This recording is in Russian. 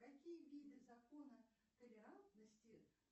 какие виды закона толерантности